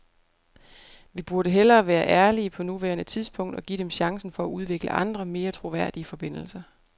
Vi burde hellere være ærlige på nuværende tidspunkt og give dem chancen for at udvikle andre, mere troværdige forbindelser.